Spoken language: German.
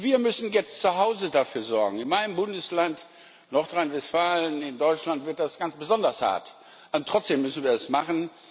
Wir müssen jetzt zu Hause dafür sorgen. In meinem Bundesland, Nordrhein Westfalen in Deutschland, wird das ganz besonders hart, und trotzdem müssen wir das machen.